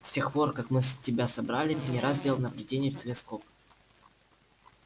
с тех пор как мы тебя собрали ты не раз делал наблюдения в телескоп